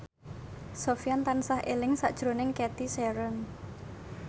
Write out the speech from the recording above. Sofyan tansah eling sakjroning Cathy Sharon